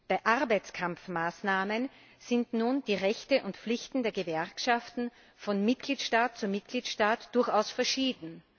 Bei Arbeitskampfmaßnahmen sind nun die Rechte und Pflichten der Gewerkschaften von Mitgliedstaat zu Mitgliedstaat durchaus verschieden.